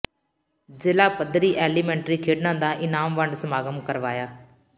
ਜ਼ਿਲ੍ਹਾ ਪੱਧਰੀ ਐਲੀਮੈਂਟਰੀ ਖੇਡਾਂ ਦਾ ਇਨਾਮ ਵੰਡ ਸਮਾਗਮ ਕਰਵਾਇਆ